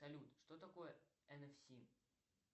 салют что такое нфс